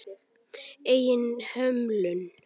Eigin hömlum.